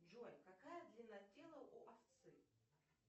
джой какая длина тела у овцы